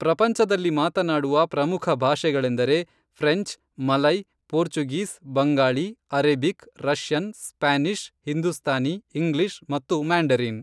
ಪ್ರಪಂಚದಲ್ಲಿ ಮಾತನಾಡುವ ಪ್ರಮುಖ ಭಾಷೆಗಳೆಂದರೆ French, Malay, Portuguese, Bengali, Arabic, Russian, Spanish, Hindustani, English, ಮತ್ತು ಮ್ಯಾಂಡರಿನ್